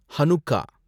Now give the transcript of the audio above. Hanukkah